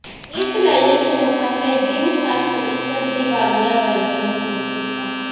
ਇਸ ਲਈ ਇਸ ਨੂੰ ਪਹਿਲੇ ਦਿਨ ਤੱਕ ਇੱਕ ਦੀਵਾਲੀਆ ਵਰਗੇ ਮਹਿਸੂਸ ਕੀਤਾ